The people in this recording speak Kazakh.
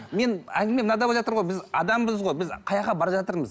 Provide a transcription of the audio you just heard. мен әңгіме мынада біз адамбыз ғой біз бара жатырмыз